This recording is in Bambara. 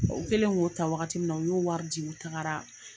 O kɛlen k'o ta wagati min na, u y'o wari di u tagara